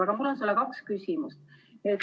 Aga mul on sulle kaks küsimust.